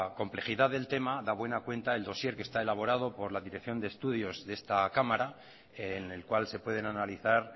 complejidad del tema da buena cuenta el dossier que está elaborado por la dirección de estudios de esta cámara en el cual se pueden analizar